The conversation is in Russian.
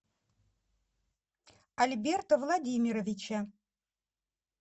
альберта владимировича